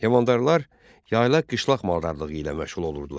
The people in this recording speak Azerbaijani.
Heyvandarlar yaylaq-qışlaq maldarlığı ilə məşğul olurdular.